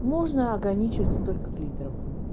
можно ограничиться только клитором